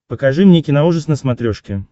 покажи мне киноужас на смотрешке